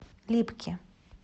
липки